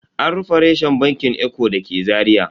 An rufe reshen bankin eco da ke Zaria.